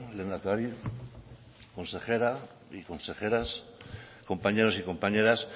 lehendakari consejera y consejeras compañeros y compañeras